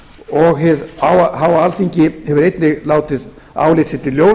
og hið háa alþingi hefur einnig látið álit sitt í ljós